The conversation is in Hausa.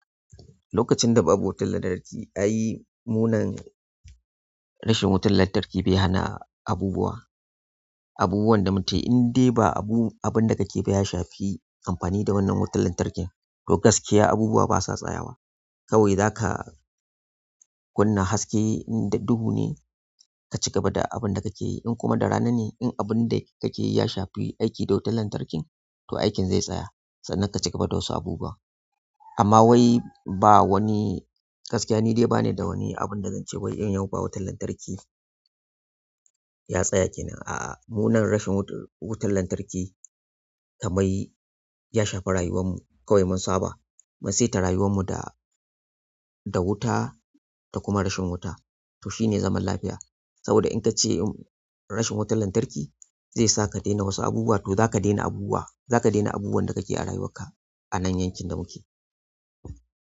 Lokacin da ba wutar lantarki, ai munan rashin wutar lantarki bai hana abubuwa, abubuwan da mu ke in dai ba abu, abin da kake biya shafi amfani da wannan wutar lantarkin to gaskiya abubuwa ba sa tsaya wa kawai zaka kunna haske in dubu ne ka cigaba da abin da kake yi. In kuma da rana ne in abin da kake yi ya shafi aiki da wutar lantarkin to aikin zai tsaya sannan ka cigaba da wasu abubuwa. Amma wai ba wani gaskiya ni dai ba ni da wani abin da zan ce wai yan yau ba wutar lantarki ya tsaya kenan. A'a munan rashin wutar lantarki kamar ya shafa rayuwanmu kawai mun saba. Mun sai ta rayuwanmu da, da wuta da kuma rashin wuta to shine zaman lafiya. Saboda in ka ce rashin wutar lantarki zai sa ka daina wasu abubuwa to zaka daina abubuwa, za ka daina abubuwan da kake yi a rayuwarka anan yankin da muke.